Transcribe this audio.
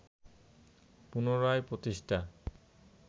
পুনরায় প্রতিষ্ঠা